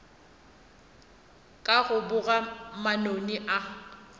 ka go boga manoni a